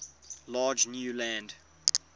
large new land